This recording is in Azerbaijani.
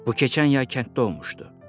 Bu keçən yay kənddə olmuşdu.